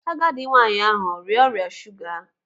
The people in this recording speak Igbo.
Agadi nwaanyị ahụ ọ arịa ọrịa shuga?